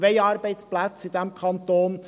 Wir wollen Arbeitsplätze in diesem Kanton.